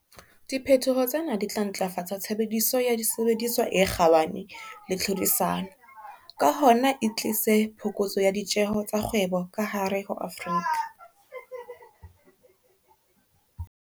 Diphetoho tsena di tla ntlafatsa tshebediso ya disebediswa e kgabane le tlhodisano, ka hona e tlise phokotso ya ditjeho tsa kgwebo ka hare ho Afrika.